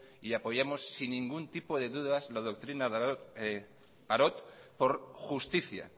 y apoyamos sin ningún tipo de dudas la doctrina parot por justicia